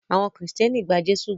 Awon Kristẹni gba Jésụ gbó.